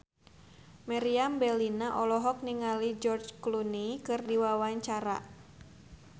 Meriam Bellina olohok ningali George Clooney keur diwawancara